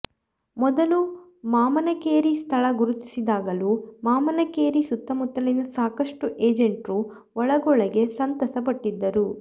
ಮೊದಲು ಮಾಮನಕೇರಿ ಸ್ಥಳ ಗುರುತಿಸಿದಾಗಲೂ ಮಾಮನಕೇರಿ ಸುತ್ತಮುತ್ತಲಿನ ಸಾಕಷ್ಟು ಏಜೆಂಟ್ರು ಒಳಗೊಳಗೆ ಸಂತಸ ಪಟ್ಟಿದರು